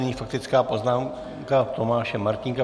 Nyní faktická poznámka Tomáše Martínka.